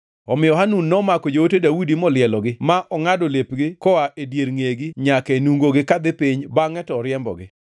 Omiyo Hanun nomako joote Daudi molielogi, ma ongʼado lepgi koa e dier ngʼegi nyaka e nungogi kadhi piny, bangʼe to oriembogi.